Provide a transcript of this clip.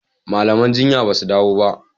malaman jinya basu dawo ba.